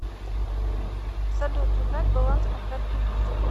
салют узнать баланс по карте виза